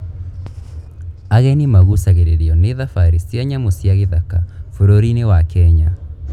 Ageni maguucagĩrĩrio nĩ thabarĩ cia nyamũ cia gĩthaka bũrũri-inĩ wa Kenya.